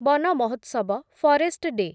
Van Mahotsav, forest day